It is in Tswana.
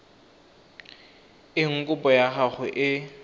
eng kopo ya gago e